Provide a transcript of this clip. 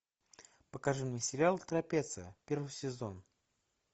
покажи мне сериал трапеция первый сезон